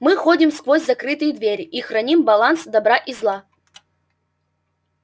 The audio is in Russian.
мы ходим сквозь закрытые двери и храним баланс добра и зла